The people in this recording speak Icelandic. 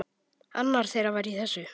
Annar þeirra var í þessu!